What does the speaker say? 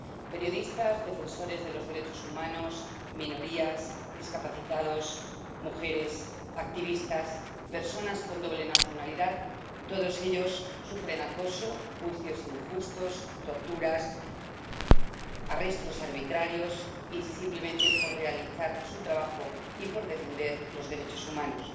Periodistas, defensores de los derechos humanos, minorías, discapacitados, mujeres, activistas, personas con doble nacionalidad, todos ellos sufren acoso, juicios injustos, torturas, arrestos arbitrarios, y ello simplemente por realizar su trabajo y por defender los derechos humanos.